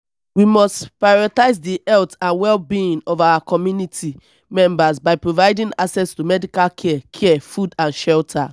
we must prioritize di health and well-being of our community members by providing access to medical care care food and shelter.